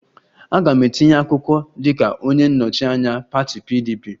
Aga m etinye akwụkwọ dịka onye nnọchi anya pati PDP